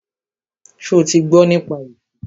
Ṣo ti gbọ́ nípa esú?